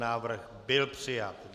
Návrh byl přijat.